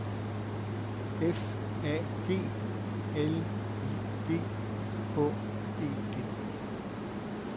F A G L I G H E D